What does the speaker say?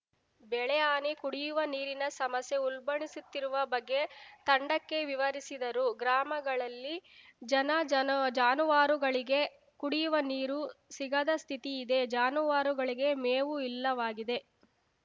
ಬೆಳೆ ಹಾನಿ ಕುಡಿಯುವ ನೀರಿನ ಸಮಸ್ಯೆ ಉಲ್ಬಣಿಸುತ್ತಿರುವ ಬಗ್ಗೆ ತಂಡಕ್ಕೆ ವಿವರಿಸಿದರು ಗ್ರಾಮಗಳಲ್ಲಿ ಜನ ಜನು ಜಾನುವಾರುಗಳಿಗೆ ಕುಡಿಯುವ ನೀರು ಸಿಗದ ಸ್ಥಿತಿ ಇದೆ ಜಾನವಾರುಗಳಿಗೆ ಮೇವೂ ಇಲ್ಲವಾಗಿದೆ